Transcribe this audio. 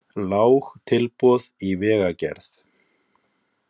Lág tilboð í vegagerð